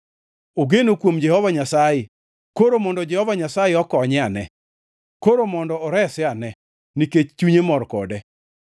“Ogeno kuom Jehova Nyasaye; koro mondo Jehova Nyasaye okonye ane. Koro mondo orese ane, nikech chunye mor kode.”